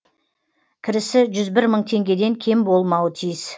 кірісі жүз бір мың теңгеден кем болмауы тиіс